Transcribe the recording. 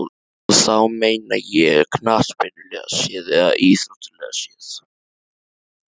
Og þá meina ég knattspyrnulega séð eða íþróttalega séð?